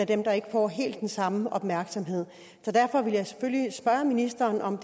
dem der ikke får helt den samme opmærksomhed derfor vil jeg selvfølgelig spørge ministeren om